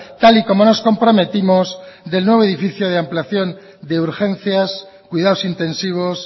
tal y como nos comprometimos del nuevo edificio de ampliación de urgencias cuidados intensivos